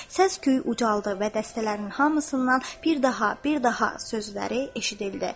Səsküy ucaldı və dəstələrin hamısından "bir daha, bir daha" sözləri eşidildi.